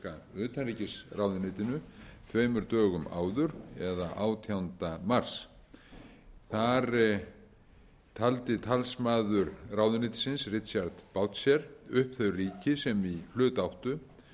bandaríska utanríkisráðuneytinu tveimur dögum áður eða átjánda mars þar taldi talsmaður ráðuneytisins richard boucher upp þau ríki sem í hlut áttu